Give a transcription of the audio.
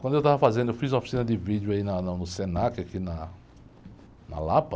Quando eu estava fazendo, eu fiz uma oficina de vídeo aí na, na, no Senac, aqui na, na Lapa.